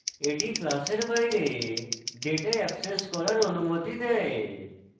the class বাইরে data access করার অনুমতি দেয়